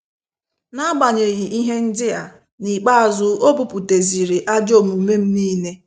Na- agbanyeghị ihe ndịa, n'ikpeazụ obuputeziri ajọ omume m n'ile